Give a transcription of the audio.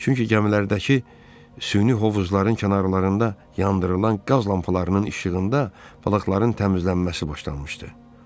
Çünki gəmilərdəki süni hovuzların kənarlarında yandırılan qaz lampalarının işığında balıqların təmizlənməsi başlanmışdı.